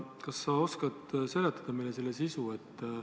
Kas sa oskad seletada meile selle sisu?